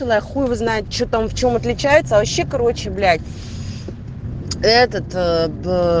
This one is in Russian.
хуй его знает что там в чем отличается вообще короче блять этот д